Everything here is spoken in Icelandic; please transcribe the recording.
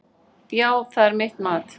Já, það er mitt mat.